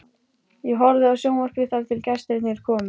Ég horfði á sjónvarpið þar til gestirnir komu.